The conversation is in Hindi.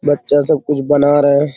बच्चा सब कुछ बना रहे हैं।